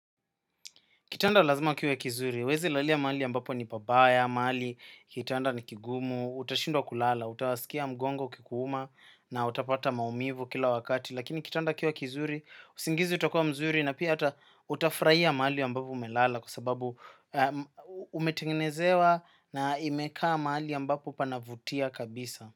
Kitanda lazima kiwe kizuri, uwezi lalia mahali ambapo ni babaya, mahali, kitanda ni kigumu, utashindwa kulala, utawasikia mgongo kikuuma na utapata maumivu kila wakati. Lakini kitanda kiuwe kizuri, usingizi utakua mzuri na pia ata utafraia mahali ambapo umelala kwa sababu umetengenezewa na imekaa maali ambapo panavutia kabisa.